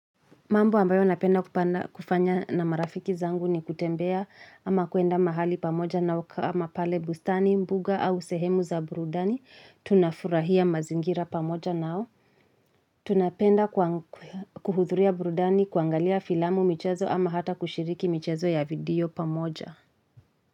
Mambo ambayo napenda kufanya na marafiki zangu ni kutembea ama kuenda mahali pamoja na ama kama pale bustani, mbuga au sehemu za burudani, tunafurahia mazingira pamoja nao. Tunapenda kuhudhuria burudani, kuangalia filamu michezo ama hata kushiriki michezo ya video pamoja.